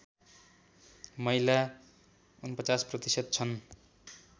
महिला ४९ प्रतिशत छन्